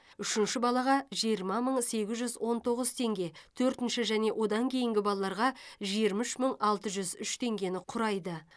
үшінші балаға жиырма мың сегіз жүз он тоғыз теңге төртінші және одан кейінгі балаларға жиырма үш мың алты жүз үш теңгені құрайды